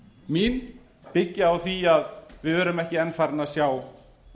mín byggja á því að við erum ekki enn farin að sjá